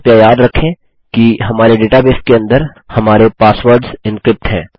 कृपया याद रखें कि हमारे डेटाबेस के अंदर हमारे पासवर्डस एन्क्रिप्ट हैं